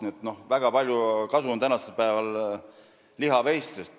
Nii et väga palju kasu on tänapäeval lihaveistest.